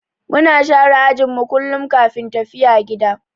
Muna share ajin mu kullum kafin tafiya gida.